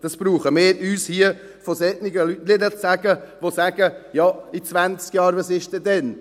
Dies brauchen wir uns hier von solchen Leuten nicht sagen lassen, welche sagen: «In 20 Jahren, was ist dann?»